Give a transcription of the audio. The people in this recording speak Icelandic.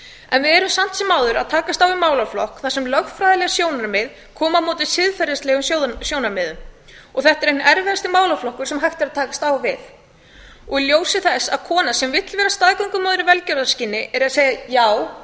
en við erum samt sem áður að takast á við málaflokk þar sem lögfræðileg sjónarmið koma á móti siðferðilegum sjónarmiðum og þetta er einn erfiðasti málaflokkur sem hægt er að takast á við í ljósi þess að kona sem vill vera staðgöngumóðir í velgjörðarskyni er að segja já